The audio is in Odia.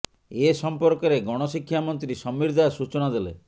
ଏ ସମ୍ପର୍କରେ ଗଣ ଶିକ୍ଷା ମନ୍ତ୍ରୀ ସମୀର ଦାଶ ସୂଚନା ଦେଲେ